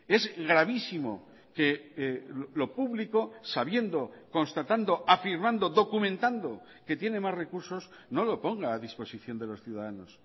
es gravísimo que lo público sabiendo constatando afirmando documentando que tiene más recursos no lo ponga a disposición de los ciudadanos